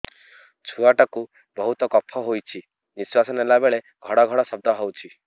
ଛୁଆ ଟା କୁ ବହୁତ କଫ ହୋଇଛି ନିଶ୍ୱାସ ନେଲା ବେଳେ ଘଡ ଘଡ ଶବ୍ଦ ହଉଛି